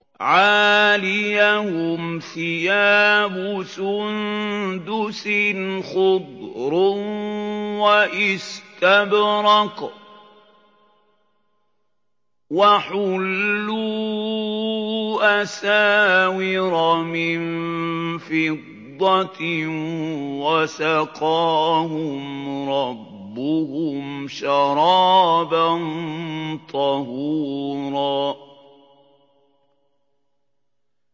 عَالِيَهُمْ ثِيَابُ سُندُسٍ خُضْرٌ وَإِسْتَبْرَقٌ ۖ وَحُلُّوا أَسَاوِرَ مِن فِضَّةٍ وَسَقَاهُمْ رَبُّهُمْ شَرَابًا طَهُورًا